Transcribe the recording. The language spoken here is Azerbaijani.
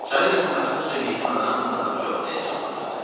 Çayı yaxınlaşdıqca meymun adam daha çox həyəcanlanırdı.